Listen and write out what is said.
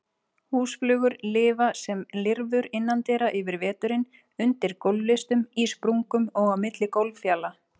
Húsflugur lifa sem lirfur innandyra yfir veturinn, undir gólflistum, í sprungum og á milli gólffjala.